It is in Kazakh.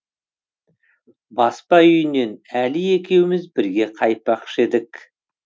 баспа үйінен әли екеуміз бірге қайтпақшы едік